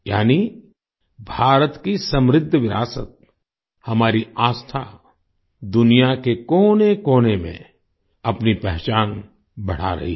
यानी भारत की समृद्ध विरासत हमारी आस्था दुनिया के कोनेकोने में अपनी पहचान बढ़ा रही है